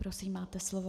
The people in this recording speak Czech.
Prosím, máte slovo.